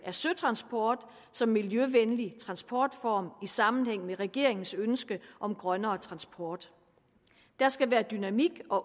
af søtransport som miljøvenlig transportform i sammenhæng med regeringens ønske om grønnere transport der skal være dynamik og